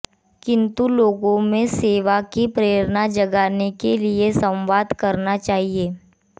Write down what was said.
किन्तु लोगों में सेवा की प्रेरणा जगाने के लिए संवाद करना चाहिए